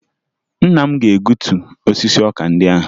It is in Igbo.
Nna m ga-egutu osisi ọka ndị ahụ